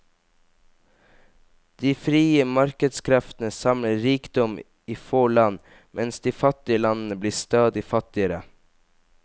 De frie markedskreftene samler rikdommen i få land, mens de fattige landene blir stadig fattigere.